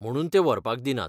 म्हणून तें व्हरपाक दिनात.